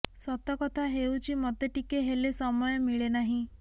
ସତ କଥା ହେଉଚି ମୋତେ ଟିକେ ହେଲେ ସମୟ ମିଳେ ନାହିଁ